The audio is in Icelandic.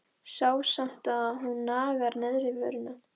Sé samt að hún nagar neðri vörina.